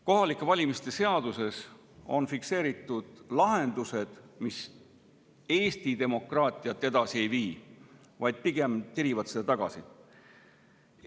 Kohalike valimiste seaduses on fikseeritud lahendused, mis Eesti demokraatiat edasi ei vii, vaid pigem tirivad seda tagasi.